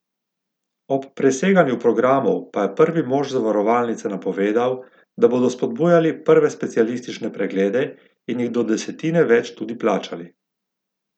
Ob preseganju programov pa je prvi mož zavarovalnice napovedal, da bodo spodbujali prve specialistične preglede in jih do desetine več tudi plačali.